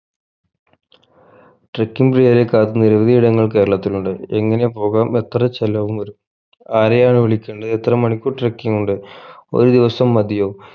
trucking പ്രിയരേ കാത്ത് നിരവധി ഇടങ്ങൾ കേരളത്തിൽ ഉണ്ട് എങ്ങനെ പോകാം എത്ര ചെലവും വരു ആരെയാണ് വിളിക്കണ്ടേ എത്ര മണിക്കൂർ trucking ഉണ്ട് ഒരു ദിവസം മതിയോ